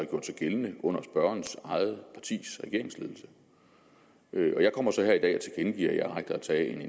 gjort sig gældende under spørgerens eget partis regeringsledelse jeg kommer så her i dag og tilkendegiver at jeg agter at tage en